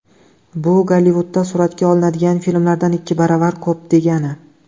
Bu Gollivudda suratga olinadigan filmlardan ikki baravar ko‘p degani.